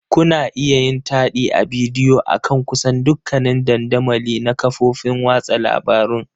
Kuna iya yin taɗi ta bidiyo akan kusan dukkanin dandamali na kafofin watsa labarun.